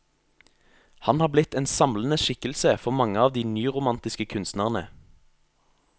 Han har blitt en samlende skikkelse for mange av de nyromantiske kunstnerne.